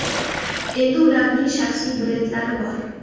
Endi ularning shaxsiy brendlari bor.